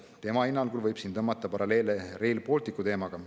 Tema hinnangul võib siin tõmmata paralleele Rail Balticu teemaga.